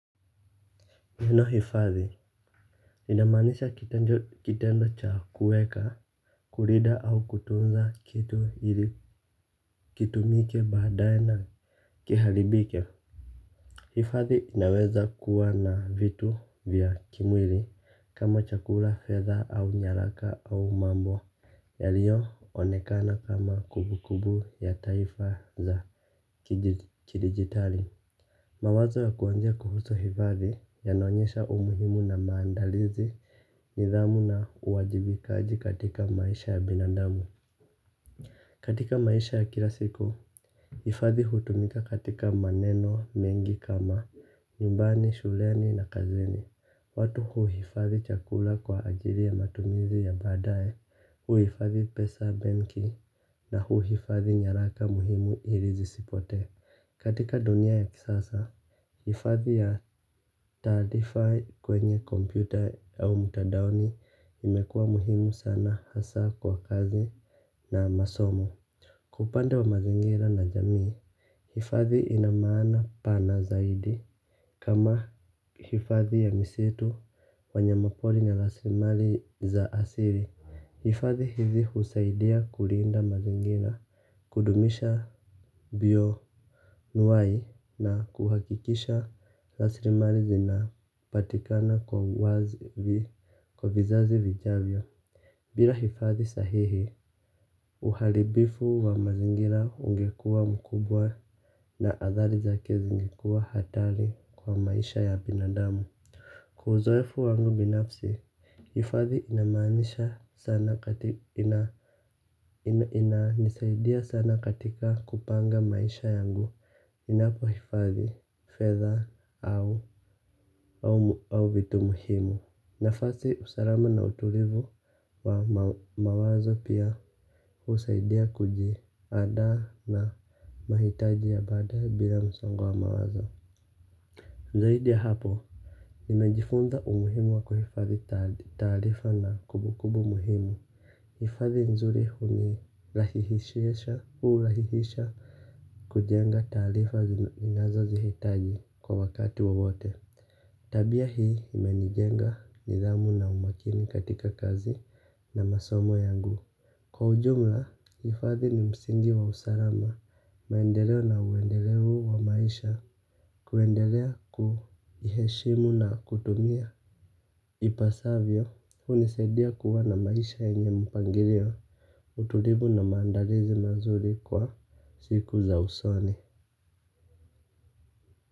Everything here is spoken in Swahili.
Neno hifadhi linamaanisha kitendo cha kuweka kulinda au kutunza kitu ili kitumike badaye na kiharibike. Hifadhi inaweza kuwa na vitu vya kimwili kama chakula fedha au nyaraka au mambo yaliyoonekana kama kumbu kumbu ya taifa za kidigitali. Mawazo ya kuonja kuhusu hifadhi yanaonyesha umuhimu na maandalizi nidhamu na uwajibikaji katika maisha ya binandamu. Katika maisha ya kila siku, hifadhi hutumika katika maneno mengi kama, nyumbani, shuleni na kazini. Watu huhifadhi chakula kwa ajili ya matumizi ya badaye, huhifadhi pesa benki na huhifadhi nyaraka muhimu ili zisipote. Katika dunia ya kisasa hifadhi ya taarifa kwenye kompyuta au mtadaoni imekuwa muhimu sana hasa kwa kazi na masomo. Kwa upande wa mazingira na jamii, hifadhi ina maana pana zaidi. Kama hifadhi ya misitu wanyama pori na rasilimali za asili hifadhi hizi husaidia kulinda mazingira kudumisha bio wai na kuhakikisha rasilimali zinapatikana kwa vizazi vijavyo. Bila hifadhi sahihi uharibifu wa mazingira ungekuwa mkubwa na athari zake zingekuwa hatari kwa maisha ya binadamu. Kwa uzoefu wangu binafsi hifadhi inamaanisha sana katika ina nisaidia sana katika kupanga maisha yangu ninapo hifadhi fedha au vitu muhimu. Nafasi usalama na utulivu wa mawazo pia husaidia kujiandaa na mahitaji ya baada ya bila msongo wa mawazo zaidi hapo, nimejifunza umuhimu wa kuhifadhi tarifa na kumbukumbu muhimu. Hifadhi nzuri huni rahihisha kujenga tarifa inazo zihitaji kwa wakati wawote. Tabia hii imenijenga nidhamu na umakini katika kazi na masomo yangu. Kwa ujumla hifadhi ni msingi wa usalama, maendeleo na uendelevu wa maisha kuendelea kuniheshimu na kutumia ipasavyo, hunisaidia kuwa na maisha yenye mpangilio, utulivu na maandalizi mazuri kwa siku za usoni.